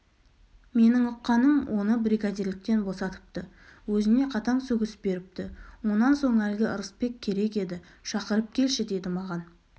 менің ұққаным оны бригадирліктен босатыпты өзіне қатаң сөгіс беріпті онан соң әлгі ырысбек керек еді шақырып келші деді маған